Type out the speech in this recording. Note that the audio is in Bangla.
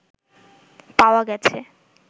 পাওয়া গেছে